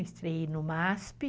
Estreiei no MASP.